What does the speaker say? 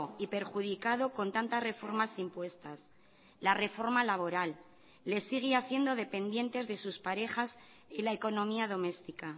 y perjudicado con tantas reformas impuestas la reforma laboral le sigue haciendo dependientes de sus parejas y la economía doméstica